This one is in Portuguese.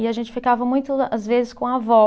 E a gente ficava muito, às vezes, com a vó.